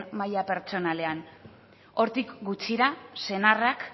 maila pertsonalean hortik gutxira senarrak